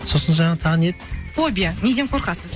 сосын жаңа тағы не еді фобия неден қорқасыз